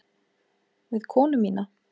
Við konu mína.